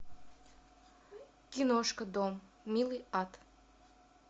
киношка дом милый ад